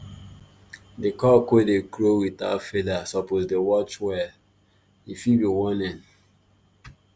di cock wey dey crow without feather suppose dey watch well — e fit be warning